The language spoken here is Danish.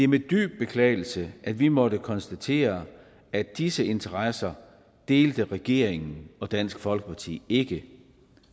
med dyb beklagelse at vi måtte konstatere at disse interesser delte regeringen og dansk folkeparti ikke